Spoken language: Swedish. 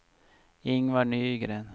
Ingvar Nygren